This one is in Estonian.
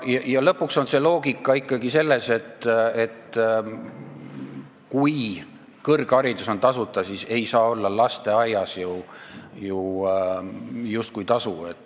Ja lõpuks on loogika ikkagi selles, et kui kõrgharidus on tasuta, siis ei saa lasteaia eest justkui tasu nõuda.